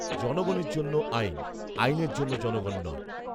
জনগণের জন্য আইন৷আইনের জন্য জনগণ নয়৷